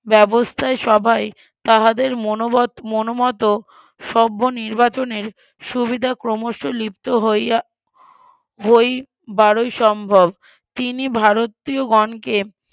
ব্যবস্থায় সবাই তাহাদের মনবত মনমত সভ্য নির্বাচনের সুবিধা ক্রমশ লিপ্ত হইয়া বারোই সম্ভব তিনি ভারতীয়গণকে